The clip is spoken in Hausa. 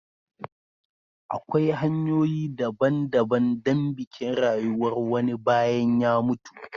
Akwai hanyoyi daban-daban don bikin rayuwar wani bayan ya mutu.